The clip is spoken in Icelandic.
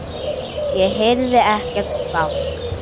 Ég heyrði ekkert bank.